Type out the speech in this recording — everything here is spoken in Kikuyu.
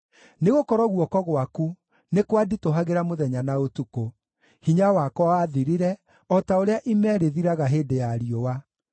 Nĩgũkorwo guoko gwaku nĩ kwanditũhagĩra mũthenya na ũtukũ; hinya wakwa wathirire o ta ũrĩa ime rĩthiraga hĩndĩ ya riũa.